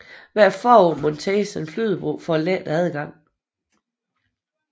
Hvert forår monteres en flydebro for at lette adgangen